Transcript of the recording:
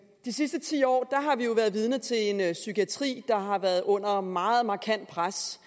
de sidste ti år har vi jo været vidne til en psykiatri der har været under meget markant pres